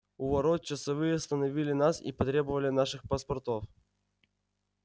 у ворот часовые остановили нас и потребовали наших паспортов